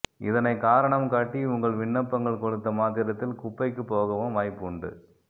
இதனைக் காரணம் காட்டி உங்கள் விண்ணப்பங்கள் கொடுத்த மாத்திரத்தில் குப்பைக்குப் போகவும் வாய்ப்பு உண்டு